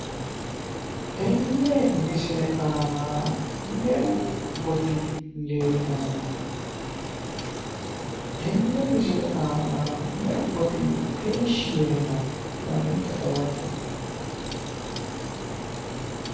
Tenne misile aana me'u gotiichi leellano? Tenne misile aana meu goti heeshshi yee no ? Tenne lamenta dawarre'e